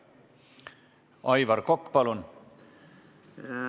Aivar Kokk, palun!